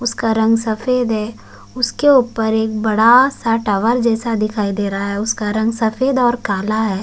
उसका रंग सफ़ेद है उसके ऊपर एक बड़ा सा टावर जैसा दिखाई दे रहा है जिसका रंग सफ़ेद और काला है।